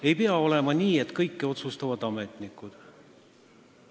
Ei pea olema nii, et kõike otsustavad ametnikud.